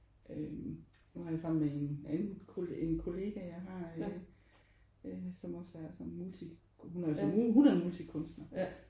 Øh har jeg sammen med en anden en kollega jeg har øh som også er sådan multi hun er multikunstner